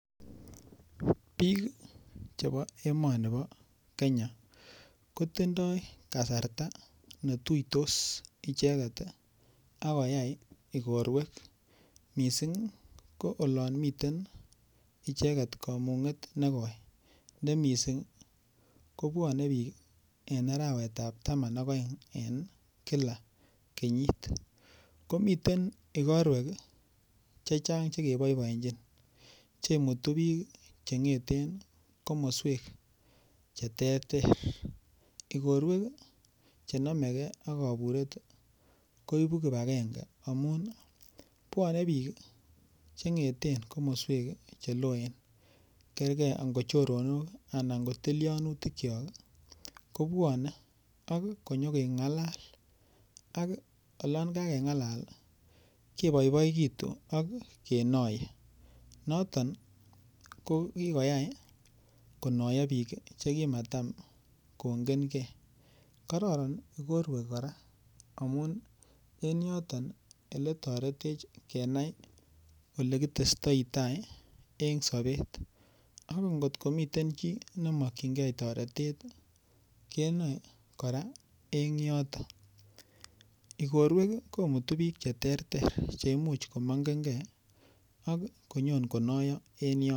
Biik chebo emoni bo Kenya, kotindoi kasarta netuitos icheket ak koyai ikorwek missing' ko olon miten icheket komung'et negoi. Ne missing' kobwone biik en arawetab taman ak oeng' en kila kenyit. Komiten ikorwek chechang' chekeboiboenjin chemutu biik cheng'eten komoswek cheterter. Ikorwek ii chenomegei ak koburet ii koibu kipagenge amun ii bwone biik cheng'eten komoswek ii cheloen kerkei angot choronok ala tilyonutikyok ii kobwone ak konyo keng'alal ak olon kakeng'alal keboiboetu ak kenoye. Noton ko kikoyai konoyo biik chekimatam kongenkei. Kororon ikorwek kora amun en yoton iletoretech kenai ilekitestoitaii en sobet ak ingotko miten chi nemokyingei toretet ii kenoe kora en yoton. Ikorwek ii komutu biik cheterter cheimuch komongenkei ak konyon konoyo en yoton.